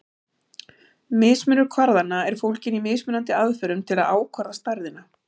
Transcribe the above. Mismunur kvarðanna er fólginn í mismunandi aðferðum til að ákvarða stærðina.